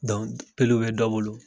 Dont peluw bɛ dɔ bolo